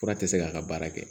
Fura tɛ se k'a ka baara kɛ